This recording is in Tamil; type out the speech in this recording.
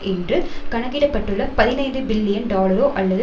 என்று கணக்கிடப்பட்டுள்ள பதினைந்து பில்லியன் டாலரோ அல்லது